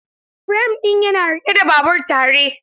Firam ɗin yana riƙe babur tare.